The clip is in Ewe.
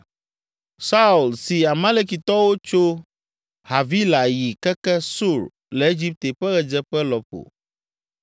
Saul si Amalekitɔwo tso Havila yi keke Sur le Egipte ƒe ɣedzeƒe lɔƒo.